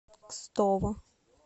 кстово